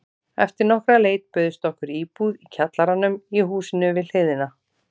Eftir nokkra leit bauðst okkur íbúð í kjallaranum í húsinu við hliðina.